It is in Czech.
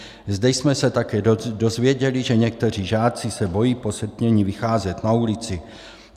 Zde jsme se také dozvěděli, že někteří žáci se bojí po setmění vycházet na ulici.